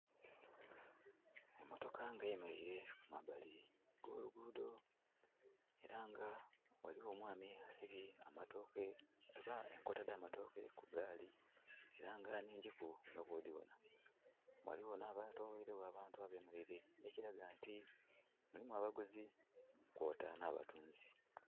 Emotoka nga eyemereire kumbali okwolugudho era nga ghaligho omwami asibye enkota dhamatooke ku gaali era nga nnhigiku nga bwodhibonha. Ghaligho ma bantu abetolweire gho ekilaga nti mulimu abaguzi kwota nha batunzi.